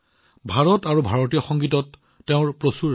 ভাৰত আৰু ভাৰতীয় সংগীতৰ প্ৰতি তেওঁৰ যথেষ্ট আগ্ৰহ আছে